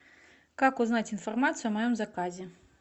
как узнать информацию о моем заказе